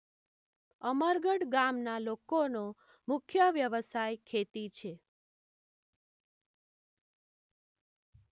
અમરગઢ ગામના લોકોનો મુખ્ય વ્યવસાય ખેતી છે.